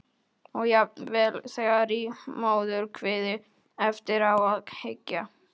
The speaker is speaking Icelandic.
Og jafnvel þegar í móðurkviði- eftir á að hyggja.